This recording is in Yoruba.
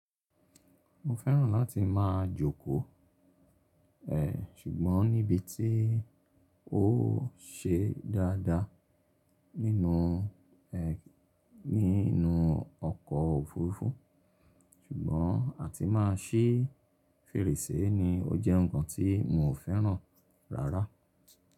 Mo fẹ́ràn láti máa jókòó, ṣùgbọ́n níbi tí ó ṣe dáadáa nínú, ẹ, nínú ọkọ̀ òfurufú ṣùgbọ́n a ti má a ṣìì fèrèsé ni ó jẹ́ ǹkan tí mo fẹ́ràn rárá.